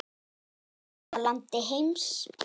Í besta landi heims.